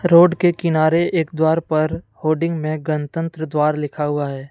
Road के किनारे एक द्वार पर होर्डिंग में गणतंत्र द्वारा लिखा हुआ है।